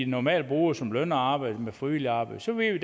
normalt bruger som lønarbejde med frivilligt arbejde så ved vi